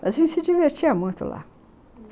Mas a gente se divertia muito lá.